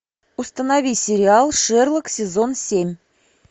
установи сериал шерлок сезон семь